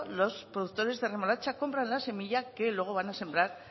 los productores de remolacha compran la semilla que luego van a sembrar